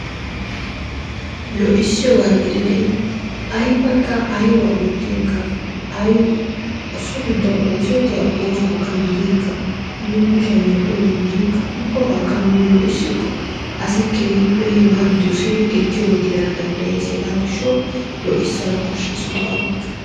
Lo"issiyooga gidide aybbakka aybba oottinkka ay so giddon oosetiya oosuwakka gidinkka nuuni kushiyaan medhdhiyooba gidinkka ubbabakka nuuni lo"issikko asa keehippe hega doossidi ekkiyooba gidana danddayees. Hega gishshaw lo"issana koshshees ubbabakka.